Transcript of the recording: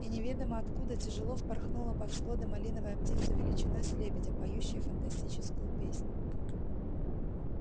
и неведомо откуда тяжело впорхнула под своды малиновая птица величиной с лебедя поющая фантастическую песнь